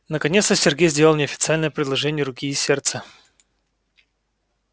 наконец-то сергей сделал мне официальное предложение руки и сердца